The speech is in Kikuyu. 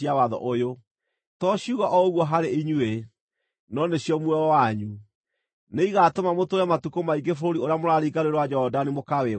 To ciugo o ũguo harĩ inyuĩ, no nĩcio muoyo wanyu. Nĩigatũma mũtũũre matukũ maingĩ bũrũri ũrĩa mũraringa Rũũĩ rwa Jorodani mũkawĩgwatĩre.”